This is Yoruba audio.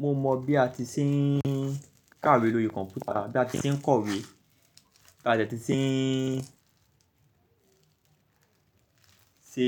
Mo mọ bí a ti ṣe ń kàwé lórí kọ̀npútà, bí a ti ń kọ̀wé, bí a de ti ṣe ń ṣe